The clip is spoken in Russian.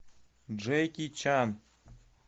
джеки чан